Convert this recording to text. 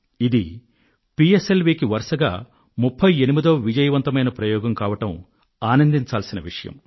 ఇది పిఎస్ఎల్ వికి వరుసగా 38వ విజయవంతమైన ప్రయోగం కావడం ఆనందించాల్సిన విషయం